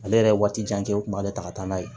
Ale yɛrɛ ye waati jan kɛ o kun b'ale ta ka taa n'a ye